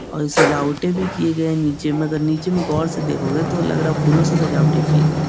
और सजावटे भी किये गए है निचे में मगर निचे में गौर से देखोगे तो लग रहा है फूलो से सजावटें किये गए --